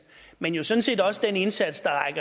men jo sådan set også den indsats der